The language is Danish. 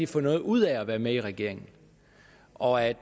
får noget ud af at være med i regeringen og at